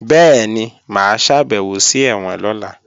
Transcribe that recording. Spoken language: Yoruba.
Bẹ́ẹ̀ni, mà á ṣàbẹ̀wò sí ẹ̀wọ̀n lọ́la